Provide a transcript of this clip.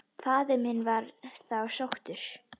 Faðir minn var þá sóttur.